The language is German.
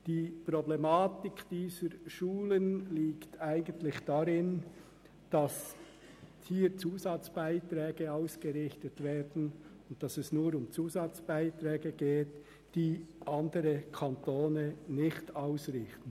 Die Problematik dieser Schulen liegt eigentlich darin, dass hier Zusatzbeiträge ausgerichtet werden, und dass es nur um Zusatzbeiträge geht, die andere Kantone nicht ausrichten.